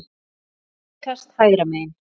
Innkast hægra megin.